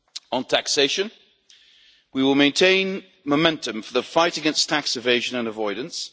On taxation, we will maintain momentum for the fight against tax evasion and avoidance.